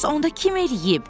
Bəs onda kim eləyib?